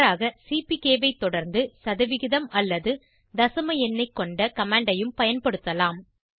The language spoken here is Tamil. மாறாக சிபிகே ஐ தொடர்ந்து சதவிகிதம் அல்லது தசம எண்ணை கொண்ட கமாண்ட் ஐ யும் பயன்படுத்தலாம்